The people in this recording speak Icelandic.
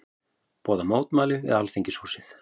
Boða mótmæli við Alþingishúsið